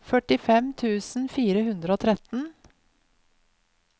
førtifem tusen fire hundre og tretten